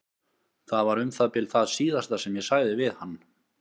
Það var um það bil það síðasta sem ég sagði við hann.